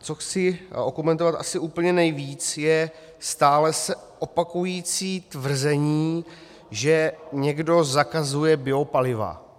Co chci okomentovat asi úplně nejvíc, je stále se opakující tvrzení, že někdo zakazuje biopaliva.